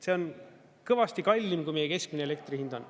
See on kõvasti kallim, kui meie keskmine elektri hind on.